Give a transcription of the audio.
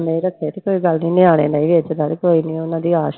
ਨਹੀਂ ਰੱਖੇ ਤੇ ਕੋਈ ਗੱਲ ਨੀ ਨਿਆਣੇ ਨੇ ਕੋਈ ਨੀ ਉਹਨਾਂ ਦੀ